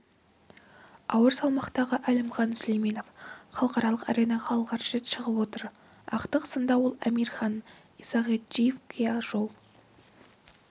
ауыр салмақтағы әлімжан сүлейменов халықаралық аренаға алғаш рет шығып отыр ақтық сында ол амирхан исагаджиевке жол